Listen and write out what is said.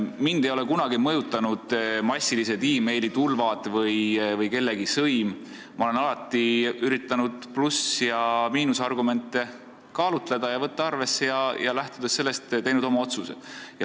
Mind ei ole kunagi mõjutanud meilitulvad või kellegi sõim, ma olen alati üritanud pluss- ja miinusargumente kaalutleda ja arvesse võtta ning lähtudes sellest teinud oma otsuse.